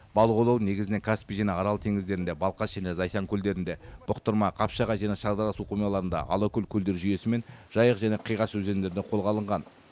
балық аулау негізінен каспий және арал теңіздерінде балқаш және зайсан көлдерінде бұқтырма қапшағай және шардара су қоймаларында алакөл көлдер жүйесі мен жайық және қиғаш өзендерінде қолға алынған